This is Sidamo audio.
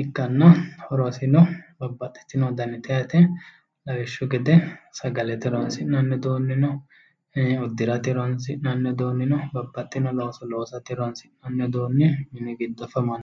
ikkanna horosino babaxino danite yaate lawishshu gede sagalete horoonsi'nanni uduunni no uddirate horoonsi'nanni uduunni no babaxino looso loosate horoonsi'nanni uduunni mini giddoafamanno.